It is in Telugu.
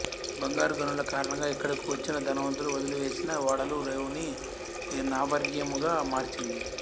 బంగారు గనుల కారణంగా ఇక్కడకు వచ్చిన ధనవంతులు వదిలివేసిన ఓడలు రేవుని నావారణ్యముగా మార్చింది